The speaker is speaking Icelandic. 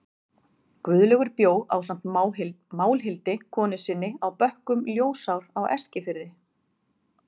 Guðlaugur bjó ásamt Málhildi, konu sinni, á bökkum Ljósár á Eskifirði.